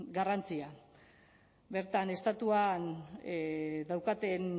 garrantzia bertan estatuan daukaten